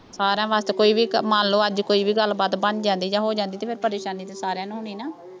ਸਾਰਿਆਂ ਵਾਸਤੇ ਕੋਈ ਵੀ ਕੰਮ ਮੰਨ ਲਓ ਅੱਜ ਕੋਈ ਵੀ ਗੱਲਬਾਤ ਬਣ ਜਾਂਦੀ ਜਾਂ ਹੋ ਜਾਂਦੀ ਅਤੇ ਫੇਰ ਪਰੇਸ਼ਾਨੀ ਤਾਂ ਸਾਰਿਆਂ ਨੂੰ ਹੋਣੀ ਨਾ।